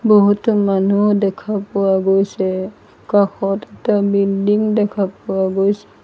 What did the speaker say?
বহুতো মানুহ দেখা পোৱা গৈছে কাষত এটা বিল্ডিং দেখা পোৱা গৈছে।